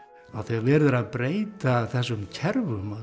þegar verið er að breyta þessum kerfum öllum